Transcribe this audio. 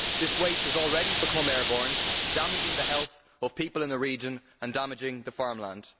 This waste has already become airborne, damaging the health of people in the region and damaging the farmland.